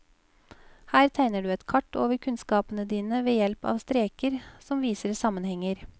Her tegner du et kart over kunnskapene dine ved hjelp av streker som viser sammenhenger.